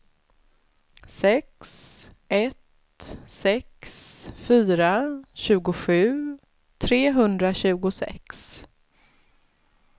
sex ett sex fyra tjugosju trehundratjugosex